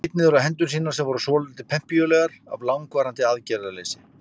Hann leit niður á hendur sínar sem voru svolítið pempíulegar af langvarandi aðgerðarleysi.